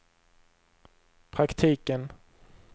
praktiken